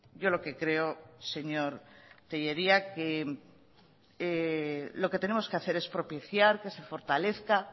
yo lo que creo señor tellería que lo que tenemos que hacer es propiciar que se fortalezca